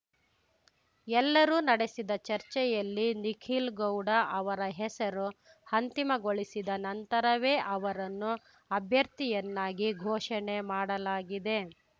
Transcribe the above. ಎಲ್ಲರೂ ನಡೆಸಿದ ಚರ್ಚೆಯಲ್ಲಿ ನಿಖಿಲ್‌ಗೌಡ ಅವರ ಹೆಸರು ಅಂತಿಮಗೊಳಿಸಿದ ನಂತರವೇ ಅವರನ್ನು ಅಭ್ಯರ್ಥಿಯನ್ನಾಗಿ ಘೋಷಣೆ ಮಾಡಲಾಗಿದೆ